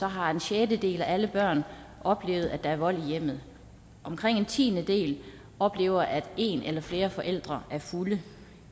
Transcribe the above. har en sjettedel af alle børn oplevet at der er vold i hjemmet omkring en tiendedel oplever at en eller flere forældre er fulde